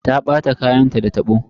Ta ɓata kayanta da tabo.